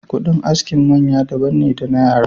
Kudin askin maya daban ne da na yara.